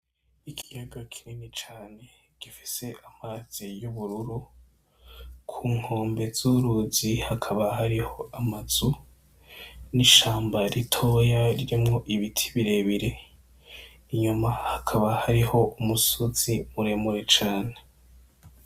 Ikiyaga kinini cane gifise amazi y’ubururu. Ku nkombe z’uruzi hakaba hariho amazu n’ishamba ritoya ririmo ibiti birebare, inyuma hakaba hariho umusozi mure mure cane.